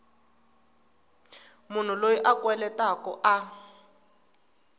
munhu loyi a kweletaku a